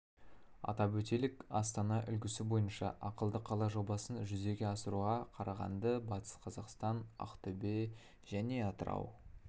атап өтелік астана үлгісі бойынша ақылды қала жобасын жүзеге асыруға қарағанды батыс қазақстан ақтөбе және атырау